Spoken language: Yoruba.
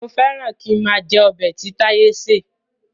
Mo féràn kín máa jẹ ọbẹ̀ tí táyé ṣé.